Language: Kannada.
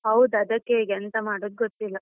ಹೌದ್, ಅದಕ್ಕೆ ಈಗ ಎಂತ ಮಾಡೋದು ಗೊತ್ತಿಲ್ಲ.